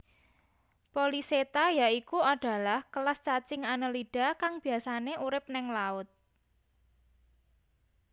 Polychaeta yaikuadalah kelas cacing annelida kang biasané urip ning laut